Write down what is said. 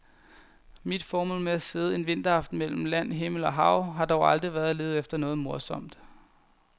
Mit formål med at sidde en vinteraften mellem land, himmel og hav har dog aldrig været at lede efter noget morsomt.